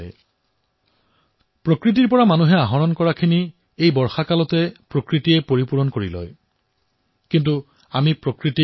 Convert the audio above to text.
মানৱে প্ৰকৃতিৰ যিসমূহ সামগ্ৰী গ্ৰহণ কৰে বাৰিষাৰ সময়ত প্ৰকৃতিয়ে সেয়া পুনৰ গঢ়ি তোলে ৰিফিল কৰে